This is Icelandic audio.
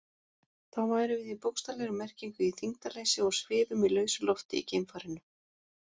Þá værum við í bókstaflegri merkingu í þyngdarleysi og svifum í lausu lofti í geimfarinu.